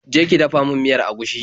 Je ki dafa min miyar agushi.